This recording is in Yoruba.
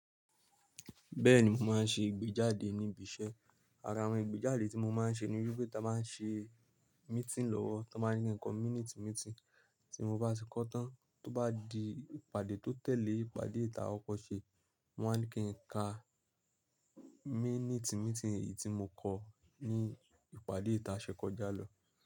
Bẹ́ẹ̀ni, mo máa ń ṣe ìgbéjáde níbi iṣẹ́. Ara àwọn ìgbéjáde tí mo máa ń ṣe ni wípé táa máa ń ṣe meeting lọ́wọ́, tá n máa ní ki ǹko minute meeting, tí mo bá ṣe kó tán, tó bá di ìpàdé tó tẹ̀lé ìpàdé ta ọkọ̀ ṣe, wón máa ní kí n ka minute meeting èyí tí mo kọ ní ìpàdé ta sẹ́kọ́jà lọ.